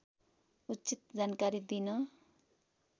उचित जानकारी दिन